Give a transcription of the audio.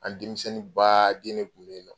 An denmisɛnnin baaden ne tun bɛ yen nɔ